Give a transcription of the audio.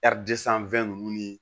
ninnu ni